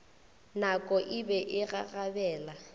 nako e be e gagabela